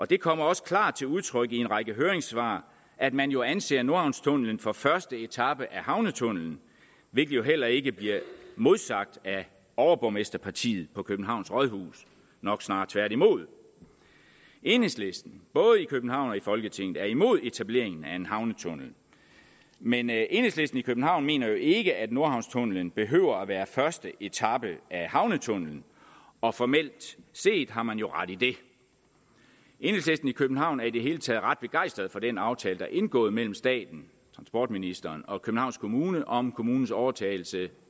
det kommer også klart til udtryk i en række høringssvar at man jo anser nordhavnstunnelen for at være første etape af havnetunnelen hvilket jo heller ikke bliver modsagt af overborgmesterpartiet på københavns rådhus nok snarere tværtimod enhedslisten både i københavn og i folketinget er imod etableringen af en havnetunnel men enhedslisten i københavn mener jo ikke at nordhavnstunnelen behøver at være første etape af havnetunnelen og formelt set har man jo ret i det enhedslisten i københavn er i det hele taget ret begejstret for den aftale der er indgået mellem staten transportministeren og københavns kommune om kommunens overtagelse